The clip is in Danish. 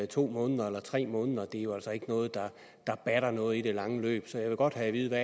to måneder eller tre måneder det er jo altså ikke noget der batter noget i det lange løb så jeg vil godt have at vide